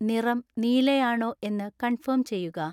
നിറം നീലയാണോ എന്ന് കൺഫേം ചെയ്യുക